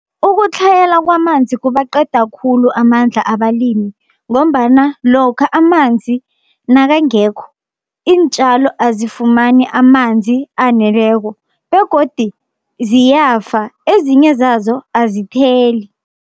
Ukutlhayela kwamanzi kubaqeda khulu amandla abalimi, ngombana lokha amanzi nakangekho iintjalo azifumani amanzi aneleko begodi ziyafa, ezinye zazo azitheli.